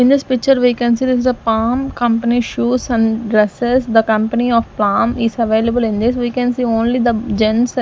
in this picture we can see this is the palm company shoes and dresses the company of palm is available in this we can see only the gents--